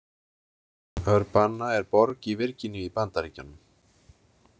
Urbanna er borg í Virginíu í Bandaríkjunum.